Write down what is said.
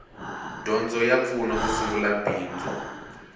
dyondzo ya pfuna ku sungula bindzu